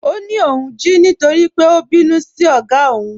Ọ ní óun jí nítorí pé ó bínú sí ogá ọ́ún.